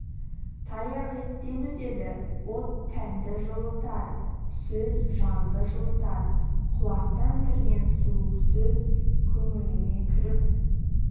таяқ еттен өтеді от тәнді жылытар сөз жанды жылытар құлақтан кірген суық сөз көңіліңе кіріп